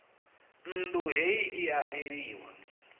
nnḓu heila i a eliwa